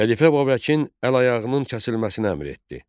Xəlifə Babəkin əl ayağının kəsilməsinə əmr etdi.